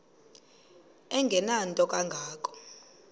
engenanto kanga ko